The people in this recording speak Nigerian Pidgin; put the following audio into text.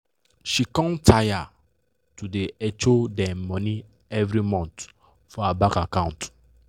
she com taya to da hecho dem money evrey month for her bank account